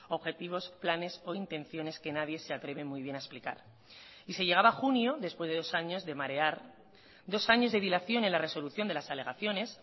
objetivos planes o intenciones que nadie se atreve muy bien a explicar y se llegaba a junio después de dos años de marear dos años de dilación en la resolución de las alegaciones